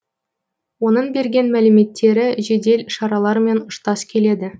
оның берген мәліметтері жедел шаралармен ұштас келеді